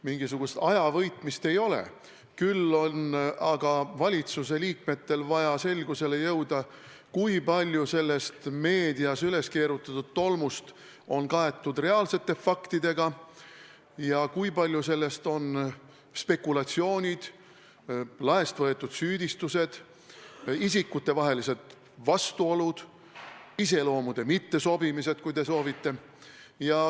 Mingisugust ajavõitmist ei ole, küll on aga valitsuse liikmetel vaja selgusele jõuda, kui palju sellest meedias üles keerutatud tolmust on kaetud reaalsete faktidega ja kui palju sellest on spekulatsioonid, laest võetud süüdistused, isikutevahelised vastuolud või – kui soovite – iseloomude mittesobimised.